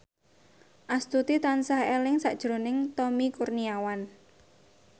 Astuti tansah eling sakjroning Tommy Kurniawan